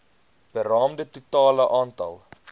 beraamde totale aantal